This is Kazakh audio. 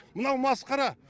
мынау масқара